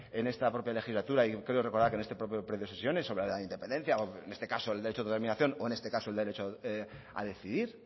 en esta propia legislatura y creo recordar que en este propio periodo de sesiones sobre la independencia o en este caso el derecho de la autodeterminación o en este caso el derecho a decidir